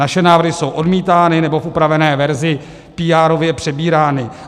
Naše návrhy jsou odmítány nebo v upravené verzi píárově přebírány.